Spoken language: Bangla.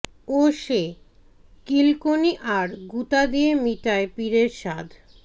ও সে কিলকনি আর গুঁতা দিয়া মিটায় পীরের সাধ